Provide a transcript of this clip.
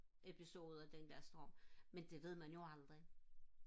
episode den der storm men det ved man jo aldrig